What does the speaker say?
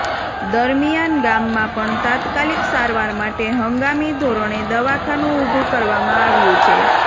દરમિયાન ગામમાં પણ તાત્કાલીક સારવાર માટે હંગામી ધોરણે દવાખાનું ઉભુ કરવામાં આવ્યું છે